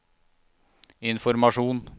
informasjon